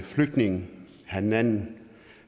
flygtning hanan